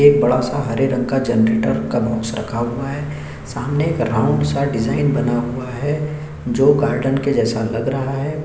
एक बड़ा सा हरे रंग का जनरेटर का बॉक्स रखा हुआ है सामने एक राउंड सा डिजाइन बना हुआ है जो गार्डन जैसा लग रहा है |